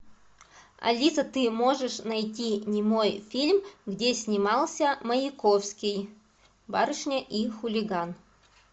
алиса ты можешь найти немой фильм где снимался маяковский барышня и хулиган